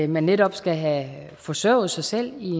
man netop skal have forsørget sig selv i